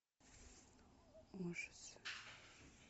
ужасы